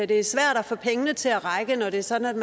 det er svært at få pengene til at række når det er sådan